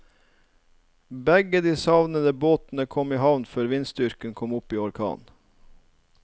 Begge de savnede båtene kom i havn før vindstyrken kom opp i orkan.